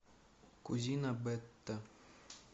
кузина бетта